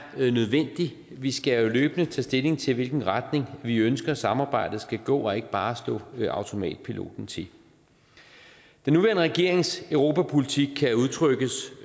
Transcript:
nødvendig vi skal jo løbende tage stilling til i hvilken retning vi ønsker samarbejdet skal gå og ikke bare slå automatpiloten til den nuværende regerings europapolitik kan udtrykkes